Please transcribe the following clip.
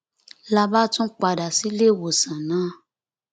la bá tún padà sílé ìwòsàn náà